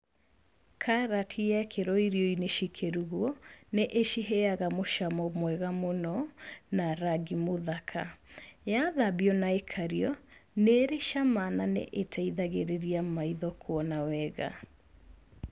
Karati yekĩrwo irio-inĩ cikĩrugwo, nĩ ĩciheyaga mũcamo mwega mũno na rangi mũthaka. Yathambio na ĩkario, nĩ ĩrĩ cama na nĩ ĩteithagĩrĩria maitho kuona wega.